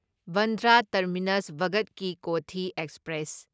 Bandra terminus Bhagat Ki Kothi express